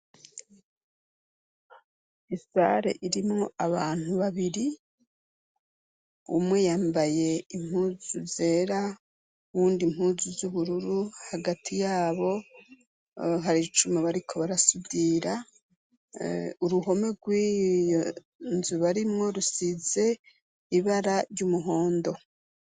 Isare irimwo abantu babiri, umwe yambaye impuzu zera uwundi impuzu z'ubururu, hagati yabo hari icuma bariko barasudira, uruhome rw'iyo nzu barimwo rusize ibara ry'umuhondo.